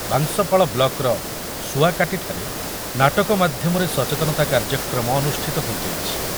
ବାଂଶପାଳ ବ୍ଲକର ଶୁଆକାଟୀଠାରେ ନାଟକ ମାଧ୍ୟମରେ ସଚେତନତା କାର୍ଯ୍ୟକ୍ରମ ଅନୁଷ୍ଠିତ ହୋଇଯାଇଛି।